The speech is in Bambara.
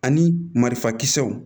Ani marifa kisɛw